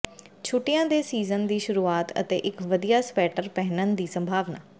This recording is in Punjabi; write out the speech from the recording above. ਛੁੱਟੀਆਂ ਦੇ ਸੀਜ਼ਨ ਦੀ ਸ਼ੁਰੂਆਤ ਅਤੇ ਇੱਕ ਵਧੀਆ ਸਵੈਟਰ ਪਹਿਨਣ ਦੀ ਸੰਭਾਵਨਾ